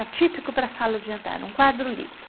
Era típico para a sala de jantar, era um quadro lido.